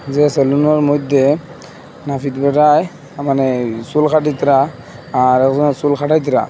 যে সেলুনের মইধ্যে নাপিত বেটায় মানে চুল কাটিতরা আর ওইখানে চুল কাটাইতরা।